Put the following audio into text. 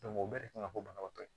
o bɛɛ de kan ka bɔ banabaatɔ ye